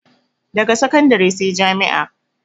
Daga sakandare sai jami'a